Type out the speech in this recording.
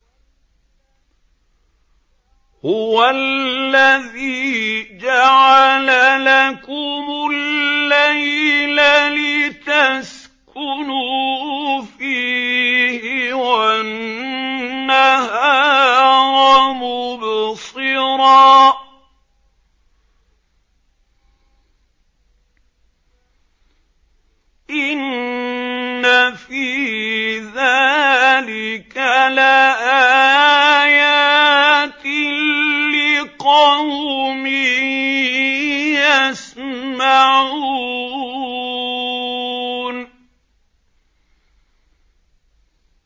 هُوَ الَّذِي جَعَلَ لَكُمُ اللَّيْلَ لِتَسْكُنُوا فِيهِ وَالنَّهَارَ مُبْصِرًا ۚ إِنَّ فِي ذَٰلِكَ لَآيَاتٍ لِّقَوْمٍ يَسْمَعُونَ